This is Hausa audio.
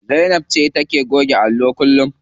Zainab ce take goge allo kullum.